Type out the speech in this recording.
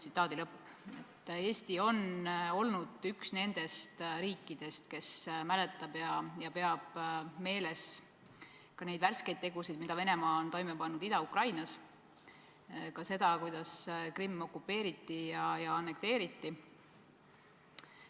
Eesti on olnud üks nendest riikidest, kes mäletab ja peab meeles ka neid värskeid tegusid, mille Venemaa on toime pannud Ida-Ukrainas, ka seda, kuidas Krimm okupeeriti ja annekteeriti.